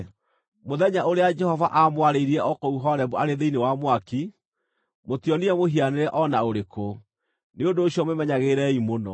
Mũthenya ũrĩa Jehova aamwarĩirie o kũu Horebu arĩ thĩinĩ wa mwaki, mũtionire mũhianĩre o na ũrĩkũ. Nĩ ũndũ ũcio mwĩmenyagĩrĩrei mũno,